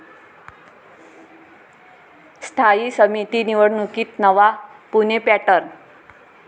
स्थायी समिती निवडणुकीत नवा 'पुणे पॅटर्न'